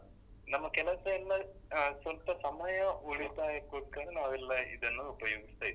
ನಮ್ಮ ಕೆಲಸ ಎಲ್ಲ ಅಹ್ ಸ್ವಲ್ಪ ಸಮಯ ಎಲ್ಲ ಉಳಿತಾಯಕ್ಕೋಸ್ಕರ ನಾವ್ ಎಲ್ಲ ಇದನ್ನು ಉಪಯೋಗಿಸ್ತಾ ಇದ್ದೇವೆ.